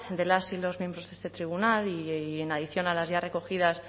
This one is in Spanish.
de las y los miembros de este tribunal y en adición a las ya recogidas